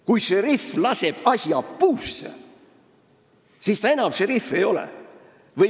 Kui šerif laseb asja puusse, siis ta enam šerif ei ole.